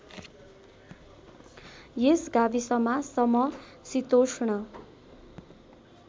यस गाविसमा समशितोष्ण